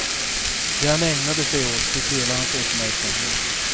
Det han ägnade sig åt fick hela hans uppmärksamhet.